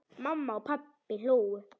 Mamma og pabbi hlógu.